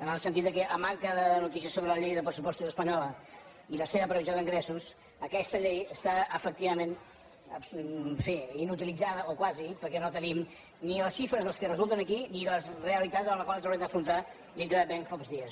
en el sentit que a manca de notícies sobre la llei de pressupostos espanyola i la seva previsió d’ingressos aquesta llei està efectivament en fi inutilitzada o quasi perquè no tenim ni les xifres que resulten aquí ni la realitat a la qual ens haurem d’enfrontar dintre de ben pocs dies